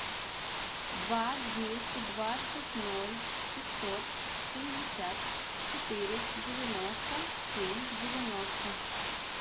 два двести двадцать ноль пятьсот семьдесят четыре девяносто семь девяносто